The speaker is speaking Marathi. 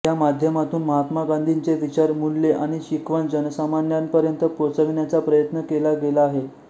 या माध्यमातून महात्मा गांधींचे विचार मूल्ये आणि शिकवण जनसामान्यांपर्यंत पोहोचविण्याचा प्रयत्न केला गेला आहे